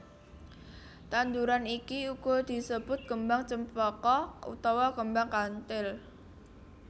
Tanduran iki uga disebut Kembang Cempaka utawa Kembang Kanthil